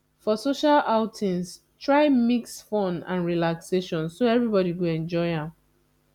for social outings try mix fun and relaxation so everybody go enjoy am